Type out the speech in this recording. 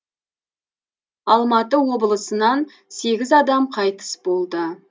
алматы облысынан сегіз адам қайтыс болды